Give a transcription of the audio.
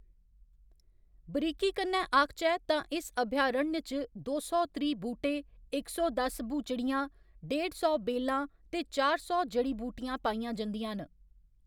बरीकी कन्नै आखचै तां इस अभयारण्य च दो सौ त्रीह्‌ बूह्‌‌टे, इक सौ दस ब्हूचड़ियां, डेढ़ सौ बेलां ते चार सौ जड़ी बूटियां पाइयां जंदियां न।